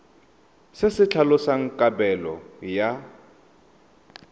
se se tlhalosang kabelo ya